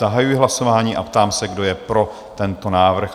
Zahajuji hlasování a ptám se, kdo je pro tento návrh?